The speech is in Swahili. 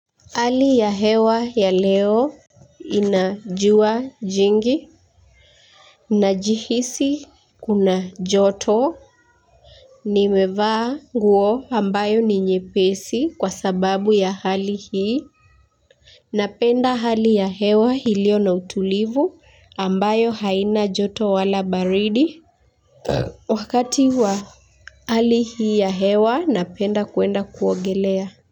Hali ya hewa ya leo ina jua jingi najihisi kuna joto nimevaa nguo ambayo ni nyepesi kwa sababu ya hali hii ninapenda hali ya hewa iliyo na utulivu ambayo haina joto wala baridi wakati wa hali hii ya hewa ninapenda kwenda kuogelea. Kwa hivyo.